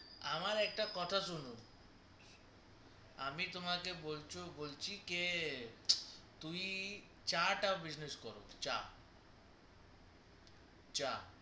আমার একটা কথা শুনো আমি তোমাকে বলছি কে তুই চা টা business কারো চা চা